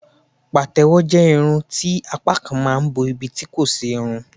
patewo je irú Irun ti apá kan ma n bo ibi tí kò sí irun.